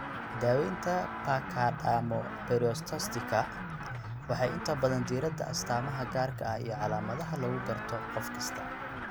Daawaynta pachydermoperiostosiska waxay inta badan diiradda astamaha gaarka ah iyo calaamadaha lagu garto qofkasta.